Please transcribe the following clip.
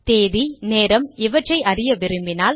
தேதி நேரம் இவற்றை அறிய விரும்பினால்